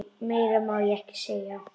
Meira má ég ekki segja.